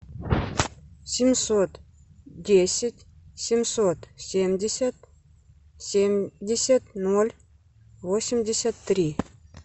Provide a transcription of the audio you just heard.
семьсот десять семьсот семьдесят семьдесят ноль восемьдесят три